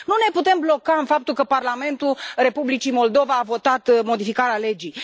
Nu ne putem bloca în faptul că Parlamentul Republicii Moldova a votat modificarea legii.